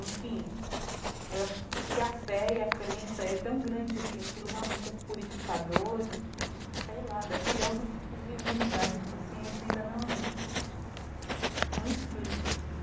Enfim, eu acho que que a fé e a crença é tão grande que aquilo realmente é purificador, de que... Sei lá, deve criar algum tipo de imunidade que a ciência ainda não não explica, assim.